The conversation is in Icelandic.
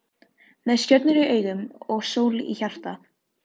Með stjörnur í augum og sól í hjarta.